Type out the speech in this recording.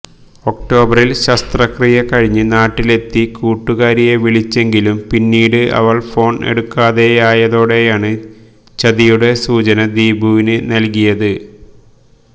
ഒക്ടോബറില് ശസ്ത്രക്രിയ കഴിഞ്ഞ് നാട്ടിലെത്തി കൂട്ടുകാരിയെ വിളിച്ചെങ്കിലും പിന്നീട് അവള് ഫോണ് എടുക്കാതെയായതോടെയാണ് ചതിയുടെ സൂചന ദീപുവിന് നല്കിയത്